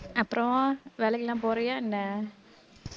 அப்புறம் வேலைக்கெல்லாம் போறியா என்ன